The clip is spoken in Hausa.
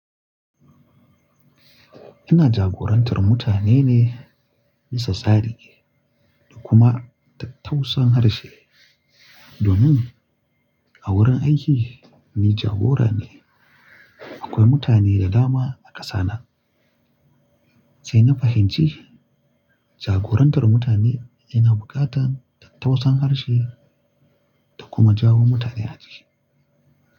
Ina jagorantar mutane ne bisa tsari da kuma tattausar harshe. Domin a wurin aiki ni jagora ne. Akwai mutane da dama a ƙasa nan. Sai na fahimci jagorantar mutane yana buƙatar tausayin harshe da kuma jawo mutane a ciki.